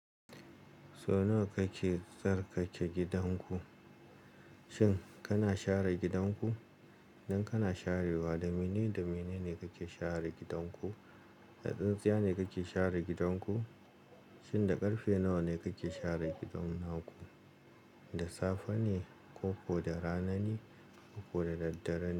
Sau nawa kake tsarkake gidanku? Shin kana share gidanku? Idan kana sharewa, da menene da menene kake share gidanku? Da tsintsiya ne kake share gidanku? Shin da ƙarfe nawa ne kake share gidan naku? Da safe ne ko ko da rana ni ko ko da daddare ne?